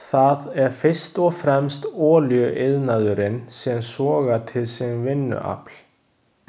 Það er fyrst og fremst olíuiðnaðurinn sem sogar til sín vinnuafl.